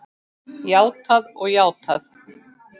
Játað og játað og játað.